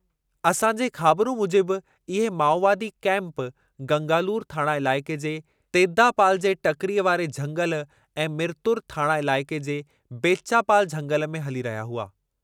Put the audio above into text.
असांजे ख़ाबिरूं मूजिबि इहे माओवादी कैंप गंगालूर थाणा इलाइक़े जे तेद्दापाल जे टकरीअ वारे झंगलि ऐं मिरतुर थाणा इलाइक़े जे बेच्चापाल झंगलि में हली रहिया हुआ।